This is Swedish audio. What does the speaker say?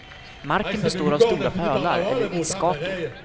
Marken består av stora pölar eller isgator.